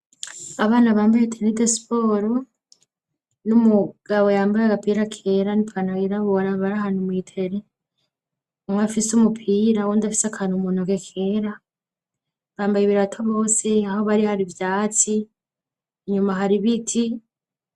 Abana bambaye teni de siporo n'umugabo yambaye agapira kera n'ipantaro yirabura bari ahantu mw'itere, umwe afise umupira uwundi afise akantu mu ntoke kera, bambaye ibirato bose, aho bari hari ivyatsi, inyuma hari ibiti.